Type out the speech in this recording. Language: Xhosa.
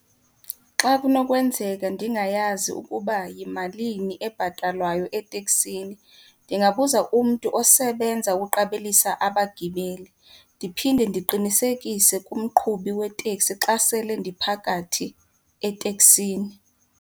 Xa kunokwenzeka ndingayazi ukuba yimalini ebhatalwayo eteksini, ndingabuza umntu osebenza ukuqabelisa abagibeli ndiphinde ndiqinisekise kumqhubi weteksi xa sele ndiphakathi eteksini.